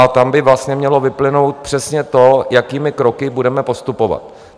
A tam by vlastně mělo vyplynout přesně to, jakými kroky budeme postupovat.